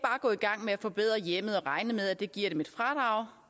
gå i gang med at forbedre hjemmet og regne med at det giver dem et fradrag